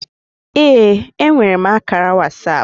Ee, enwere m ákàrà WhatsApp